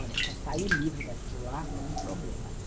Olha, para sair livre daquilo lá foi um problema, viu?